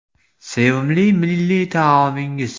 Sevimli milliy taomingiz?